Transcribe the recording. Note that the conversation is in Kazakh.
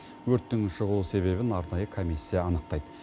өрттің шығу себебін арнайы комиссия анықтайды